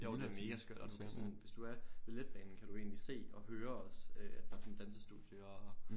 Jo den er mega skør og du kan sådan hvis du er ved letbanen så kan du egentlig se og hør også at der er sådan et dansestudie og